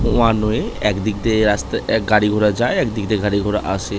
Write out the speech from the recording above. One way এক দিক দিয়ে রাস এক গাড়িঘোরা যায় একদিক দিয়ে গাড়িঘোড়া আসে ।